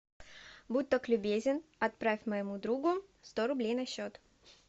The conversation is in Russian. будь так любезен отправь моему другу сто рублей на счет